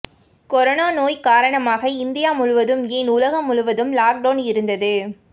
corona நோய் காரணமாக India முழுவதும் ஏன் உலகம் முழுவதும் லாக் டவுன் இருந்தது